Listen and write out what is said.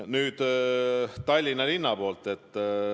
Nüüd Tallinna linnast.